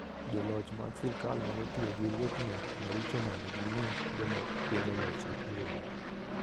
Joloch mag sirkal nyalo tiyo gi riekni maricho mondo gimi joma kwedo lochgi oling'.